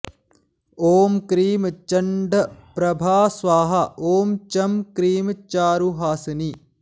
ॐ क्रीं चण्डप्रभा स्वाहा ॐ चं क्रीं चारुहासिनी